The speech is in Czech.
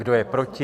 Kdo je proti?